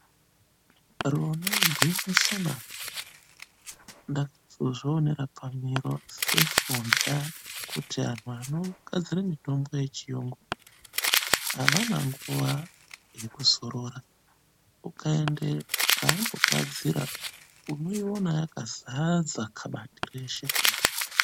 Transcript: Rona igwinyisona, ndakazozvionera pamiro seforya ,kuti anhu anogadzire mitombo yechiyungu, avana nguwa yekuzorora. Ukaende paanogadzira ,unoiona yakazadza khabati reshe kudai.